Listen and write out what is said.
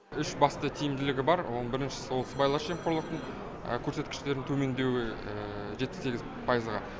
үш басты тиімділігі бар оның біріншісі ол сыбайлас жемқорлық көрсеткіштерінің төмендеуі жетпіс сегіз пайызға